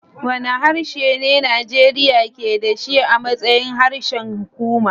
Wane harshe ne Najeriya ke da shi a matsayin harshen hukuma?